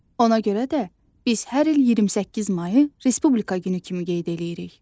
Ona görə də biz hər il 28 mayı Respublika günü kimi qeyd eləyirik.